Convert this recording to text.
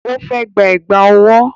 Ó fẹ́ gba Ẹ̀gbá ọwọ́